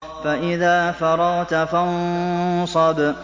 فَإِذَا فَرَغْتَ فَانصَبْ